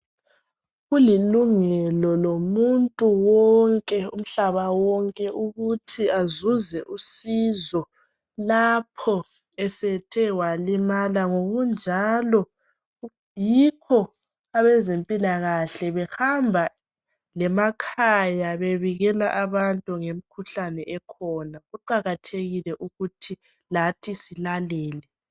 Kulilungelo lomuntu wonke umhlaba wonke ukuthi azuze usizo lapho esethe walimala . Ngokunjalo yikho abezempilakahle behamba lemakhaya bebikela abantu ngemikhuhlane ekhona. Kuqakathekile ukuthi lathi silalele .